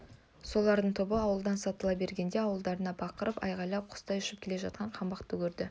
солардың тобы ауылдан сытыла бергенде алдарынан бақырып айғайлап құстай ұшып келе жатқан қаңбақты көрді